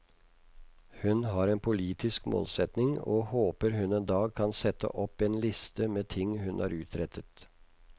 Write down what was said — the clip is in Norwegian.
Hun har en politisk målsetning, og håper hun en dag kan sette opp en liste med ting hun har utrettet.